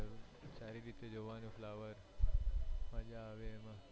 સારી રીતે જોવાનું flower મજ્જા આવે એમાં